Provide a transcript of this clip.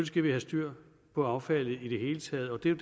skal vi have styr på affaldet i det hele taget og det er